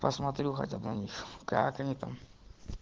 посмотрю хотя бы на них как они там